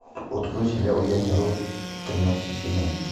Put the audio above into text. открой сериал я не робот тринадцатый сезон